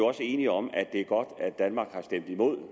også enige om at det er godt at danmark har stemt imod